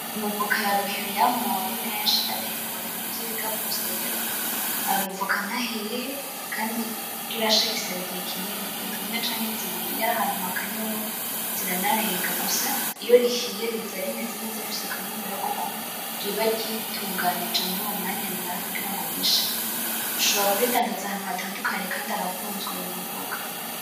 Amavoka ya ruhere yamuwe ari menshi atekerwa mu bintu vy'ibigapo vyera, ayo mavoka ntahiye, kandi kugira ashe bisaba igihe kinini, indwi imwe canke zibiri, iyo ari ahantu hakanye hoho ziranarenga, gusa iyo rihiye riza rimeze neza rifise akanovera kuko riba ryitunganije muri uwo mwanya rimara kugirango rishe. Ushobora kuridandaza ahantu hatadukanye, kandi arakunzwe rwose ayo mavoka.